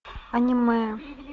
аниме